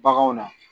Baganw na